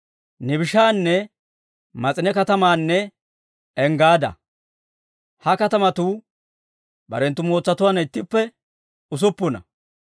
Nibishaana, Mas'ine katamaanne Enggaada. Ha katamatuu barenttu mootsatuwaanna ittippe usuppuna.